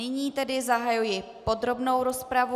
Nyní tedy zahajuji podrobnou rozpravu.